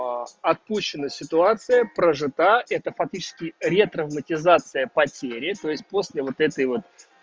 отпущена ситуация прожита это фактически ретравматизация потери то есть после вот этой вот